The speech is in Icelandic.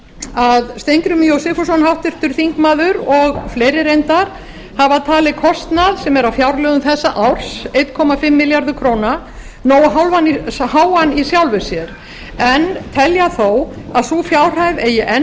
að háttvirtur þingmaður steingrímur j sigfússon og fleiri reyndar hafa talið kostnað sem er á fjárlögum þessa árs eins og hálfur milljarður króna nógu háan í sjálfu sér en telja þó að sú fjárhæð eigi enn